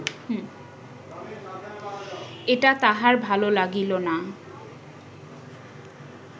এটা তাহার ভাল লাগিল না